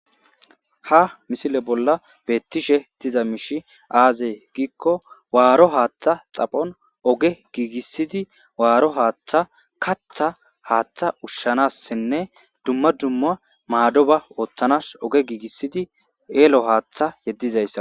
Ha misile bolla beettishe diza miishi aazey giikko waaro haaththa xaphon oge giigissidi waaro haaththa katha haaththa ushshanassinne dumma dumma maado ba ooththanas oge giigissidi eelo haaththa yeddizayssa